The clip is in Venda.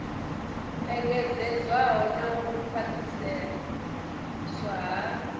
engedzedzwaho na u khwaṱhiswa ha